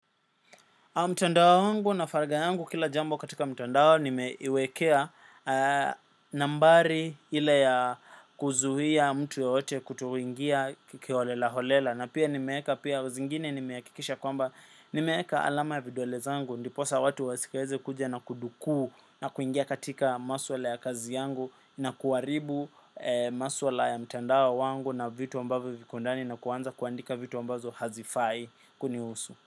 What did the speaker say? Mtandao wangu na faragha yangu kila jambo katika mtandao nimeiwekea nambari ila ya kuzuhia mtu yaote kutoingia kiolela holela na pia nimeeka pia zingine nimehakikisha kwamba nimeeka alama ya videole zangu ndiposa watu wasieze kuja na kuduku na kuingia katika maswala ya kazi yangu na kuaribu maswala ya mtandawa wangu na vitu ambavyo viko ndani na kuanza kuandika vitu ambazo hazifai kunihusu.